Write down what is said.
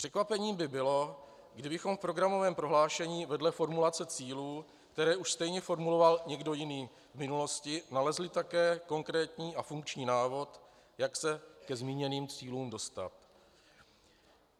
Překvapení by bylo, kdybychom v programovém prohlášení vedle formulace cílů, které už stejně formuloval někdo jiný v minulosti, nalezli také konkrétní a funkční návod, jak se ke zmíněným cílům dostat.